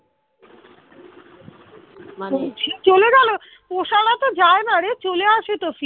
ওরা যায় না রে চলে আসো তো ফিরে